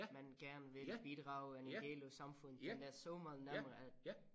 Man gerne vil bidrage en del af samfundet den der så meget nemmere at